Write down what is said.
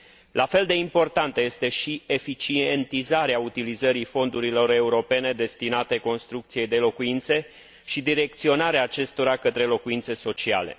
La fel de importantă este și eficientizarea utilizării fondurilor europene destinate construcției de locuințe și direcționarea acestora către locuințe sociale.